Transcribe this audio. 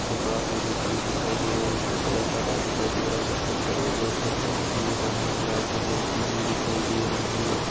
--चे कार्पेट बिछी हुई दिखाई दे रही है इसका कलर हरा दिखाई दे रहा है कुछ लोग खड़े हुए दिखाई दे रहे है लाइटे जलती हुई दिखाई दे रही हैं।